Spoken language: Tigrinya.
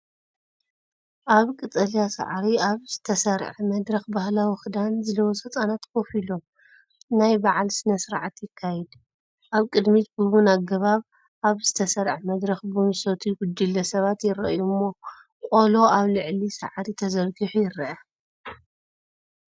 ኣብ ቀጠልያ ሳዕሪ ኣብ ዝተሰርዐ መድረኽ፡ ባህላዊ ክዳን ዝለበሱ ህጻናት ኮፍ ኢሎም፡ ናይ በዓል ስነ-ስርዓት ይካየድ። ኣብ ቅድሚት ብቡን ኣገባብ ኣብ ዝተሰርዐ መድረኽ ቡን ዝሰትዩ ጉጅለ ሰባት ይረኣዩ እሞ ቆሎ ኣብ ልዕሊ ሳዕሪ ተዘርጊሑ ይርአ።